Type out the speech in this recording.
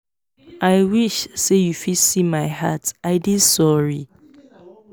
i wish say you fit see my heart i dey sorry